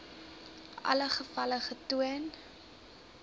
alle gevalle getoon